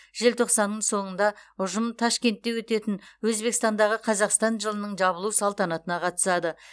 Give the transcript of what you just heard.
желтоқсанның соңында ұжым ташкентте өтетін өзбекстандағы қазақстан жылының жабылу салтанатына қатысады